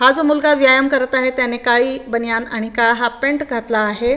हा जो मुलगा व्यायाम करत आहे त्यांने काळी बणीयान आणि काळा हाल्फ पॅन्ट घातला आहे.